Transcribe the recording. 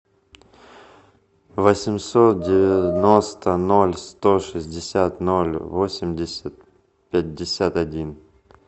восемьсот девяносто ноль сто шестьдесят ноль восемьдесят пятьдесят один